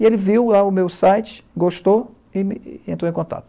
E ele viu o meu site, gostou e e entrou em contato.